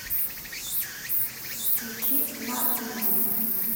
включи на изи